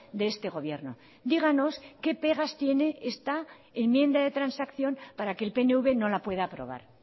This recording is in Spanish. de este gobierno díganos qué pegas tiene esta enmienda de transacción para que el pnv no la pueda aprobar